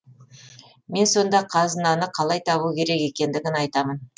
мен сонда қазынаны қалай табу керек екендігін айтамын